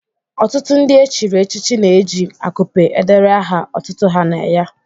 Ọtụtụ ndị echiri echichi na-eji akupe edere aha otutu ha na ya.